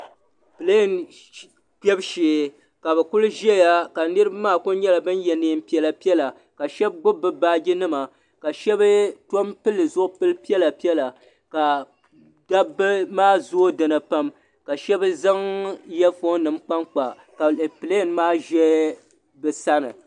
Piliŋ kpɛbu shee ka bɛ kuli ʒɛya ka niriba maa kuli ye niɛn'piɛla piɛla ka sheba gnibi bɛ baaji nima ka sheba tom pili zipil'piɛla piɛla ka dabba maa zooi dinni pam ka sheba zaŋ iya fooni nima kpankpa ka piliŋ maa ʒɛ bɛ sani.